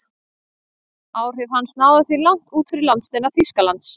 Áhrif hans náðu því langt út fyrir landsteina Þýskalands.